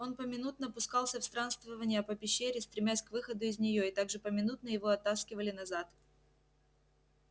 он поминутно пускался в странствования по пещере стремясь к выходу из неё и так же поминутно его оттаскивали назад